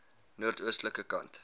noord oostelike kant